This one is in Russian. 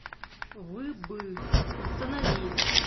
вы бы установи